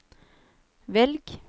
velg